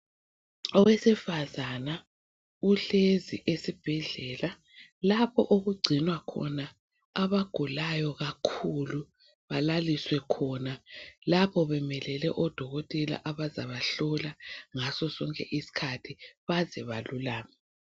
Owesifazana uhlezi esibhedlela lapho okugcinwa khona abagulayo kakhulu balaliswe khona lapho bemelele odokotela abazabahlola ngasosonke isikhathi baze balulame.